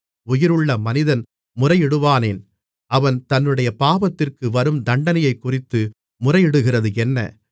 உயிருள்ள மனிதன் முறையிடுவானேன் அவன் தன்னுடைய பாவத்திற்கு வரும் தண்டனையைக்குறித்து முறையிடுகிறதென்ன